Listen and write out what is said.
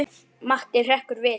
Matti hrekkur við.